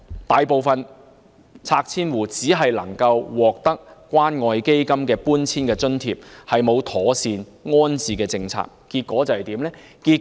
大部分拆遷戶只能獲得關愛基金的搬遷津貼，並無妥善的安置政策。